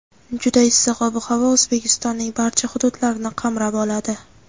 juda issiq ob-havo O‘zbekistonning barcha hududlarini qamrab oladi.